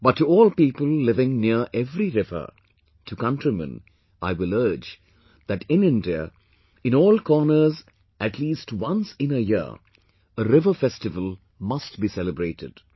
But to all people living near every river; to countrymen I will urge that in India in all corners at least once in a year a river festival must be celebrated